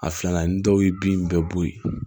A filanan ni dɔw ye bin bɛɛ bo ye